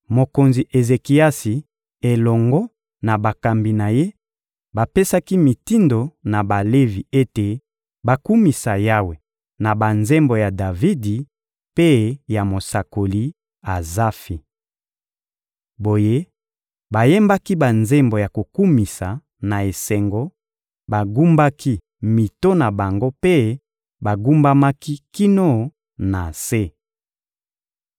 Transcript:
Mokonzi Ezekiasi elongo na bakambi na ye bapesaki mitindo na Balevi ete bakumisa Yawe na banzembo ya Davidi mpe ya mosakoli Azafi. Boye, bayembaki banzembo ya kokumisa na esengo, bagumbaki mito na bango mpe bagumbamaki kino na se.